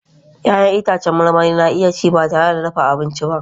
Ya'yan itãcen marmari na iya ci ba tare da dafa abinci ba